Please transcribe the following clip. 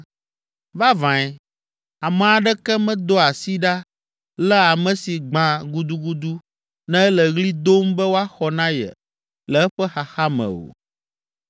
“Vavãe, ame aɖeke medoa asi ɖa léa ame si gbã gudugudu ne ele ɣli dom be woaxɔ na ye le eƒe xaxa me o.